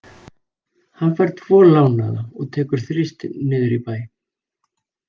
Hann fær tvo lánaða og tekur Þristinn niður í bæ.